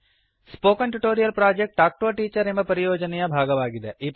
spoken tutorial project talk to a teacher ಎಂಬ ಪರಿಯೋಜನೆಯ ಭಾಗವಾಗಿದೆ